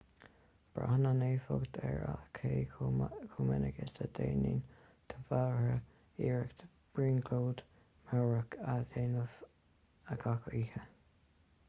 braitheann an éifeacht ar cé chomh minic is a dhéanann do mheabhair iarracht brionglóid mheabhrach a dhéanamh gach oíche